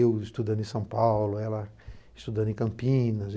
Eu estudando em São Paulo, ela estudando em Campinas.